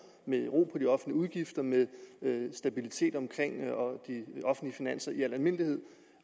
med ro på de offentlige udgifter med stabilitet omkring de offentlige finanser i al almindelighed